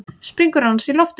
Springur annars í loft upp.